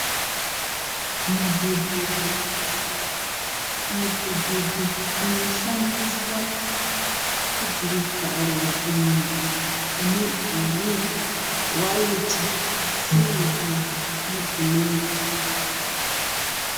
Mudhudhudhu unoshandiswa kudhirivhara zvinhu une bhuru, wayiti, sirivha nebhureki.